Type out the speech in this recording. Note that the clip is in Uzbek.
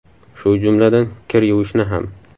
Shu jumladan kir yuvishni ham.